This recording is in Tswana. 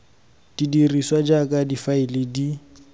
di dirisiwa jaaka difaele di